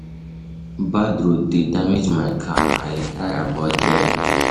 Bad road dey damage my car, I dey try avoid dem.